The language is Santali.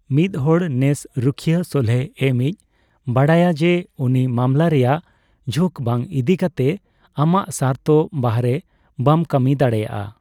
ᱢᱤᱫᱦᱚᱲ ᱱᱮᱥ ᱨᱩᱷᱟᱹᱭᱟᱹ ᱥᱚᱞᱦᱮ ᱮᱢᱭᱤᱪ ᱵᱟᱰᱟᱭᱟ ᱡᱮ, ᱩᱱᱤ ᱢᱟᱢᱞᱟ ᱨᱮᱭᱟᱜ ᱡᱷᱩᱠ ᱵᱟᱝ ᱤᱫᱤ ᱠᱟᱛᱮ ᱟᱢᱟᱜ ᱥᱟᱨᱛᱷ ᱵᱟᱨᱦᱮ ᱵᱟᱢ ᱠᱟᱹᱢᱤ ᱫᱟᱲᱮᱭᱟᱜᱼᱟ᱾